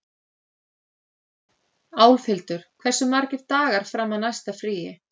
Álfhildur, hversu margir dagar fram að næsta fríi?